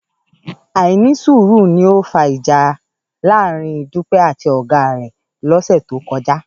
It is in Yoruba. Àìnísùúrù ni ó fa ìjà láàárín Dúpẹ́ àti ọ̀gá rẹ̀ lọ́sẹ̀ tó kọjá